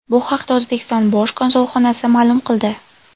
Bu haqda O‘zbekiston bosh konsulxonasi ma’lum qildi .